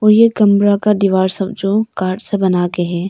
ये कमरा का दीवार सब जो कार्ड से बना के है।